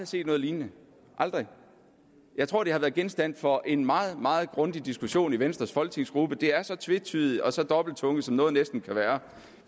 set noget lignende aldrig jeg tror det har været genstand for en meget meget grundig diskussion i venstres folketingsgruppe det er så tvetydigt og så dobbelttunget som noget næsten kan være